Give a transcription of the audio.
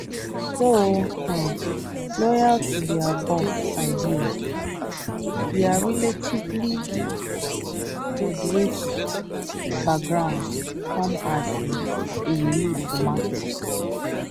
though um loyal to dia boss idea dia relatively moderate backgrounds come as um a relief to markets